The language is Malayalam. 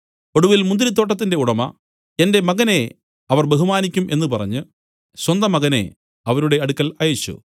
ഒടുവിൽ മുന്തിരിത്തോട്ടത്തിന്റെ ഉടമ എന്റെ മകനെ അവർ ബഹുമാനിക്കും എന്നു പറഞ്ഞു സ്വന്തമകനെ അവരുടെ അടുക്കൽ അയച്ചു